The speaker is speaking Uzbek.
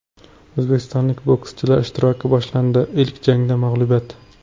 O‘zbekistonlik bokschilar ishtiroki boshlandi, ilk jangda mag‘lubiyat.